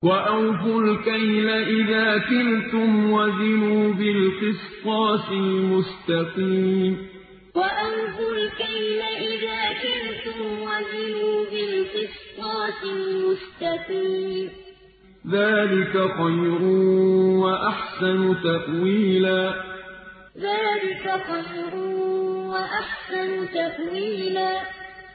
وَأَوْفُوا الْكَيْلَ إِذَا كِلْتُمْ وَزِنُوا بِالْقِسْطَاسِ الْمُسْتَقِيمِ ۚ ذَٰلِكَ خَيْرٌ وَأَحْسَنُ تَأْوِيلًا وَأَوْفُوا الْكَيْلَ إِذَا كِلْتُمْ وَزِنُوا بِالْقِسْطَاسِ الْمُسْتَقِيمِ ۚ ذَٰلِكَ خَيْرٌ وَأَحْسَنُ تَأْوِيلًا